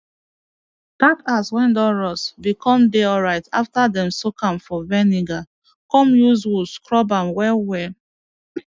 that axe wey don rust been come dey alright after them soak am for vinegar come use wool scrub am well well